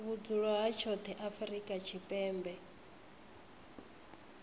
vhudzulo ha tshoṱhe afrika tshipembe